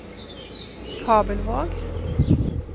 Kabelvåg